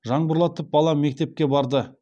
жаңбырлатып балам мектепке барды